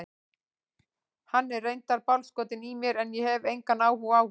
Hann er reyndar bálskotinn í mér en ég hef engan áhuga á honum.